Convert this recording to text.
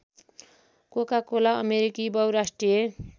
Coca Cola अमेरिकी बहुराष्ट्रिय